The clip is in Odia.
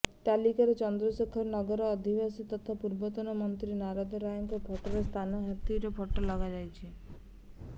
ତାଲିକାରେ ଚନ୍ଦ୍ରଶେଖର ନଗର ଅଧବାସୀ ତଥା ପୂର୍ବତମ ମନ୍ତ୍ରୀ ନାରଦ ରାୟଙ୍କ ଫଟୋ ସ୍ଥାନରେ ହାତୀର ଫଟୋ ଲଗାଯାଇଛି